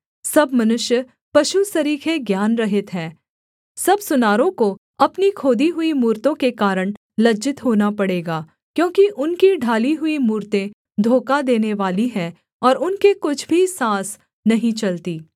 सब मनुष्य पशु सरीखे ज्ञानरहित है सब सुनारों को अपनी खोदी हुई मूरतों के कारण लज्जित होना पड़ेगा क्योंकि उनकी ढाली हुई मूरतें धोखा देनेवाली हैं और उनके कुछ भी साँस नहीं चलती